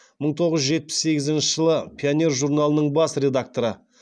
мың тоғыз жүз жетпіс сегізінші жылы пионер журналының бас редакторы